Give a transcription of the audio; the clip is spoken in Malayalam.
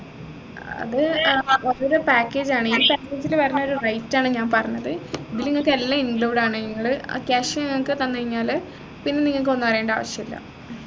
അത് ഏർ ഓരോരോ package ആണ് ഈ package ല് വരുന്നൊരു rate ആണ് ഞാൻ പറഞ്ഞത് ഇതിൽ നിങ്ങക്ക് എല്ലാം include ആണ് നിങ്ങള് ആ cash ഞങ്ങൾക്ക് തന്നു കഴിഞ്ഞാല് പിന്നെ നിങ്ങൾക്ക് ഒന്നും അറിയേണ്ട ആവശ്യമില്ല